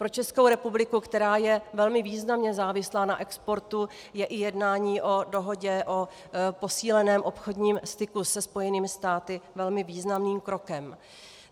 Pro Českou republiku, která je velmi významně závislá na exportu, je i jednání o dohodě o posíleném obchodním styku se Spojenými státy velmi výrazným krokem.